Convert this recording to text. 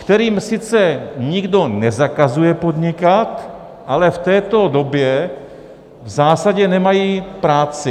Kterým sice nikdo nezakazuje podnikat, ale v této době v zásadě nemají práci.